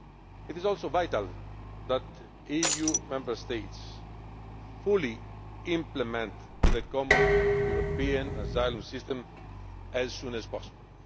It also is vital that EU Member States fully implement the Common European Asylum System as soon as possible.